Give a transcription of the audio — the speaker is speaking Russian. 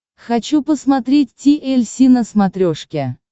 хочу посмотреть ти эль си на смотрешке